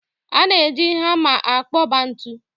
A na-eji hama akpoba ntu.